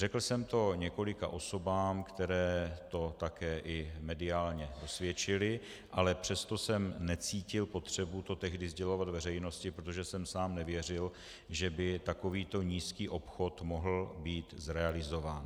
Řekl jsem to několika osobám, které to také i mediálně dosvědčily, ale přesto jsem necítil potřebu to tehdy sdělovat veřejnosti, protože jsem sám nevěřil, že by takovýto nízký obchod mohl být realizován.